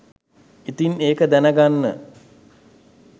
ඉතින් ඒක දැන ගන්න